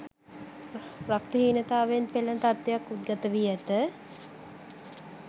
රක්ත හීනතාවයෙන් පෙළෙන තත්ත්වයක් උද්ගතවී ඇත